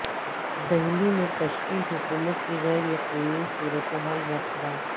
دہلی میں تشکیل حکومت کی غیر یقینی صورتحال برقرار